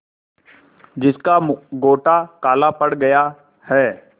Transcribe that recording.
जिसका गोटा काला पड़ गया है